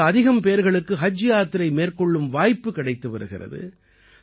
இப்போது அதிகம் பேர்களுக்கு ஹஜ் யாத்திரை மேற்கொள்ளும் வாய்ப்பு கிடைத்து வருகிறது